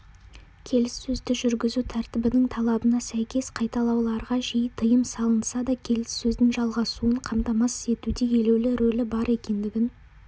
келіссөзді жүргізу тәртібінің талабына сәйкес қайталауларға жиі тыйым салынса да келіссөздің жалғасуын қамтамасыз етуде елеулі рөлі бар екендігін